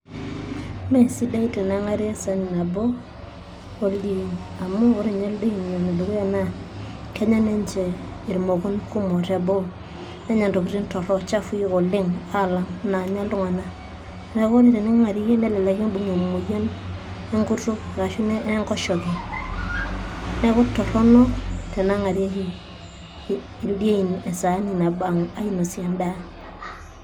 Iime sidai teneng'ari esahani nabo oldiain amuu oore ninye ildiain, naa kenya ninche intokiting kumok te boo intokitin torok chafui oleng naiku ekiidim aibung'ie imuyiaritin nekiyau enkoshoke, enkutuk niaku toronok teneng'ari esahani nabo oldiain.